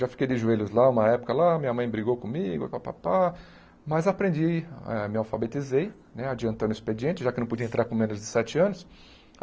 Já fiquei de joelhos lá, uma época lá, minha mãe brigou comigo, pá pá pá mas aprendi, ah me alfabetizei, né adiantando o expediente, já que não podia entrar com menos de sete anos.